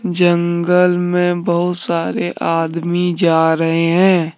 जंगल में बहुत सारे आदमी जा रहे हैं।